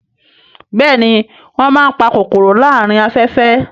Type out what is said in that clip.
Bẹ́ẹ̀ni wọ́n máa ń pa kòkòrò láàárín afẹ́fẹ́